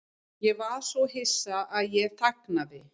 Ég var svo hissa að ég þagnaði.